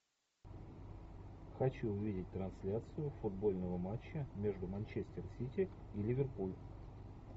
хочу увидеть трансляцию футбольного матча между манчестер сити и ливерпуль